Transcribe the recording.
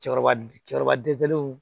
Cɛkɔrɔba cɛkɔrɔba dɛsɛlenw